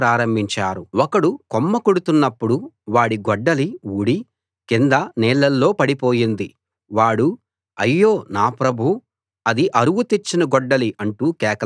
ఒకడు కొమ్మ కొడుతున్నప్పుడు వాడి గొడ్డలి ఊడి కింద నీళ్ళలో పడిపోయింది వాడు అయ్యో నా ప్రభూ అది అరువు తెచ్చిన గొడ్డలి అంటూ కేకలు పెట్టాడు